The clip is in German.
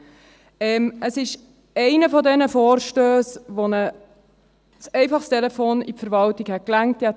Dies ist einer dieser Vorstösse, bei denen ein einfacher Anruf in die Verwaltung gereicht hätte.